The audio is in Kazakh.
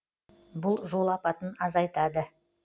бұл жол апатын азайтады